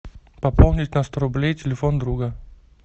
пополнить на сто рублей телефон друга